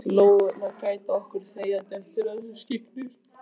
Lóurnar gæta okkar þegjandi eftir að skyggir.